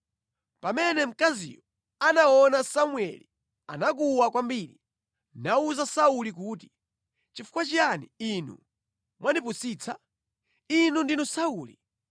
Pamene mkaziyo anaona Samueli anakuwa kwambiri, nawuza Sauli kuti, “Nʼchifukwa chiyani inu mwandipusitsa? Inu ndinu Sauli!”